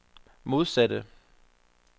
modsatte